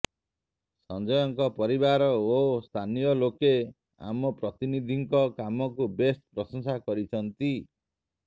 ସଂଜୟଙ୍କ ପରିବାର ଓ ସ୍ଥାନୀୟ ଲୋକେ ଆମ ପ୍ରତିନିଧିଙ୍କ କାମକୁ ବେଶ ପ୍ରଶଂସା କରିଛନ୍ତି